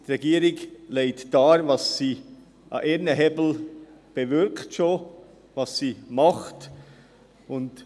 Die Regierung legt dar, welche Hebel sie bereits in Bewegung setzt, was sie tut.